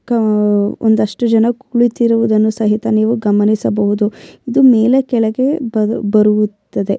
ಕ್ ಒಂದಿಷ್ಟು ಜನ ಕುಳಿತಿರುವುದನ್ನು ಸಹಿತ ನೀವು ಗಮನಿಸಬಹುದು ಇದು ಮೇಲೆ ಕೆಳಗೆ ಬರು ಬರುತ್ತದೆ --